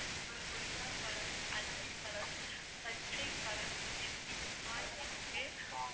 அப்புறம் கொய்யாப்பழம், அத்திப்பழம், பச்சைப்பழம், நெல்லிக்காய் இருக்கு